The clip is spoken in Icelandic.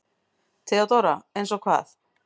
THEODÓRA: Eins og hvað?